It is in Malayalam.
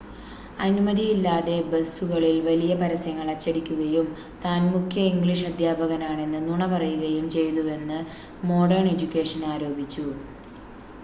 അനുമതിയില്ലാതെ ബസുകളിൽ വലിയ പരസ്യങ്ങൾ അച്ചടിക്കുകയും താൻ മുഖ്യ ഇംഗ്ലീഷ് അദ്ധ്യാപകനാണെന്ന് നുണ പറയുകയും ചെയ്തുവെന്ന് മോഡേൺ എഡ്യൂക്കേഷൻ ആരോപിച്ചു